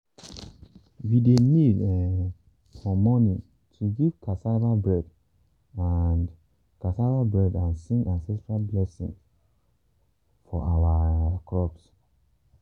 we dey kneel um for morning to give cassava bread and cassava bread and sing ancestral blessing for our um crops.